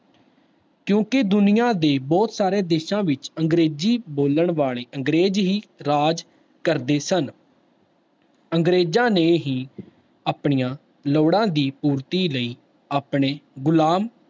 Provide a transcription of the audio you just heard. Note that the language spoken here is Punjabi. ਕਿਉਂਕਿ ਦੁਨੀਆਂ ਦੇ ਬਹੁਤ ਸਾਰੇ ਦੇਸਾਂ ਵਿੱਚ ਅੰਗਰੇਜ਼ੀ ਬੋਲਣ ਵਾਲੇ ਅੰਗਰੇਜ਼ ਹੀ ਰਾਜ ਕਰਦੇ ਸਨ ਅੰਗਰੇਜ਼ਾਂ ਨੇ ਹੀ ਆਪਣੀਆਂ ਲੋੜਾਂ ਦੀ ਪੂਰਤੀ ਲਈ ਆਪਣੇ ਗੁਲਾਮ